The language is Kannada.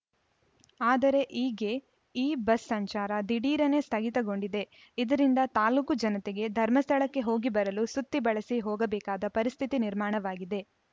ಆದರೆ ಈಗ್ಗೆ ಈ ಬಸ್‌ ಸಂಚಾರ ದಿಢೀರನೆ ಸ್ಥಗಿತ ಗೊಂಡಿದೆ ಇದರಿಂದ ತಾಲೂಕು ಜನತೆಗೆ ಧರ್ಮಸ್ಥಳಕ್ಕೆ ಹೋಗಿ ಬರಲು ಸುತ್ತಿ ಬಳಸಿ ಹೋಗಬೇಕಾದ ಪರಿಸ್ಥಿತಿ ನಿರ್ಮಾಣವಾಗಿದೆ